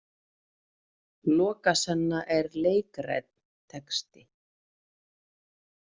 Lokasenna er leikrænn texti.